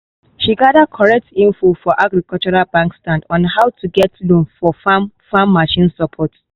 she gather correct info for agricultural bank stand on how to take get loan for farm farm machine support.